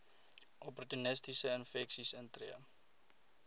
opportunistiese infeksies intree